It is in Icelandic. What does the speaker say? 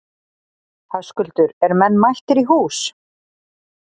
Höskuldur, eru menn mættir í hús?